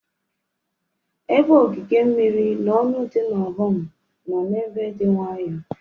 Ebe ogige mmiri na ọnụ dị n'Ọhum nọ ebe dị nwayọọ.